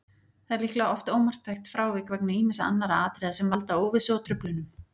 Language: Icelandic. Það er líklega oft ómarktækt frávik vegna ýmissa annarra atriða sem valda óvissu og truflunum.